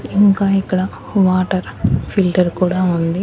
ఇంకా ఇక్కడ water filter కూడా ఉంది.